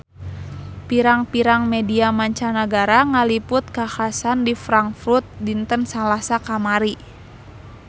Pirang-pirang media mancanagara ngaliput kakhasan di Frankfurt dinten Salasa kamari